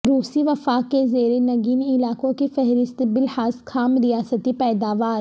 روسی وفاق کے زیر نگین علاقوں کی فہرست بلحاظ خام ریاستی پیداوار